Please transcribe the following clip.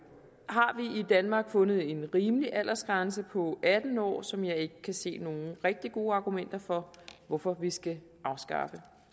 danmark fundet en rimelig aldersgrænse på atten år som jeg ikke kan se nogen rigtig gode argumenter for hvorfor vi skal afskaffe